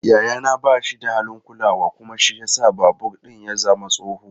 Yayana ba shi da halin kulawa kuma shi ya sa babur ɗin ya zama tsoho.